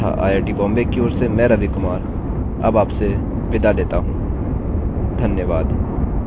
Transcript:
IIT Bombay की ओर से मैं रवि कुमार अब आपसे विदा लेता हूँ धन्यवाद